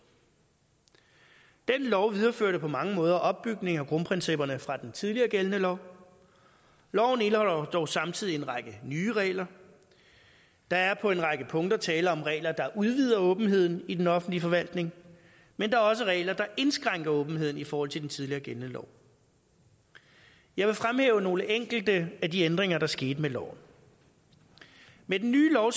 den lov videreførte på mange måder opbygningen af grundprincipperne fra den tidligere gældende lov loven indeholder dog samtidig en række nye regler der er på en række punkter tale om regler der udvider åbenheden i den offentlige forvaltning men der er også regler der indskrænker åbenheden i forhold til den tidligere gældende lov jeg vil fremhæve nogle enkelte af de ændringer der skete med loven med den nye lov